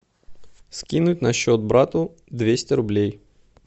скинуть на счет брату двести рублей